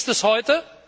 Und wie ist es heute?